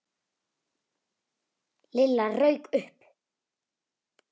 Lilla rauk upp.